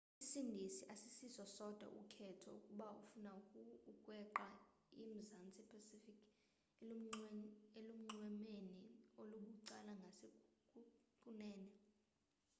isindizi asisiso sodwa ukhetho ukuba ufuna ukweqa i-mzantsi pacific elunxwemeni olubucala ngasekunene